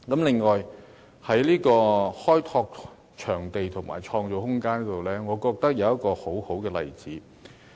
另外，在開拓場地和創造空間方面，我認為有一個很好的例子。